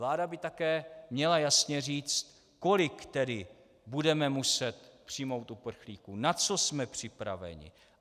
Vláda by také měla jasně říct, kolik tedy budeme muset přijmout uprchlíků, na co jsme připraveni.